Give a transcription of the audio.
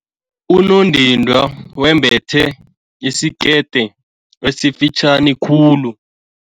Unondindwa wembethe isikete esifitjhani khulu.